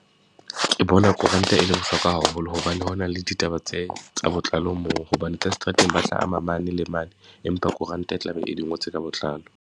Ke bona koranta e le bohlokwa haholo hobane, ho na le ditaba tse tsa botlalo moo, hobane tsa seterateng ba tla ama mane le mane, empa koranta e tla be e di ngotswe ka botlalo.